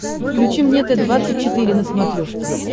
включи мне т двадцать четыре на смотрешке